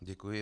Děkuji.